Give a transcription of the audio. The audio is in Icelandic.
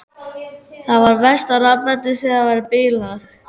Það er verst að rafmagnið þar er bilað.